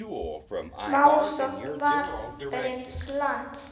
Málsókn Varins lands